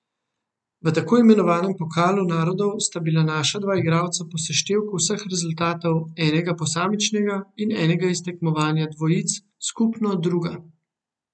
V tako imenovanem pokalu narodov sta bila naša dva igralca po seštevku vseh rezultatov, enega posamičnega in enega iz tekmovanja dvojic, skupno druga.